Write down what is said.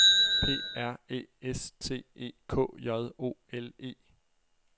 P R Æ S T E K J O L E